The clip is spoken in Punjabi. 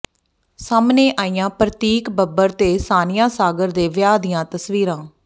ਸਾਹਮਣੇ ਆਈਆਂ ਪ੍ਰਤੀਕ ਬੱਬਰ ਤੇ ਸਾਨੀਆ ਸਾਗਰ ਦੇ ਵਿਆਹ ਦੀਆਂ ਤਸਵੀਰਾਂ